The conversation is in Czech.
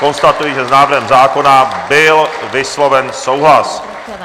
Konstatuji, že s návrhem zákona byl vysloven souhlas.